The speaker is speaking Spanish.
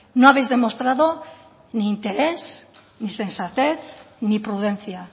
no habéis demostrado ni interés ni sensatez ni prudencia